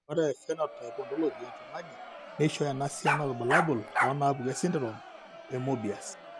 Ore ephenotype ontology etung'ani neishooyo enasiana oorbulabul onaapuku esindirom eMoebius?